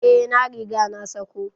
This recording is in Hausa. Eh na riga na sa ko.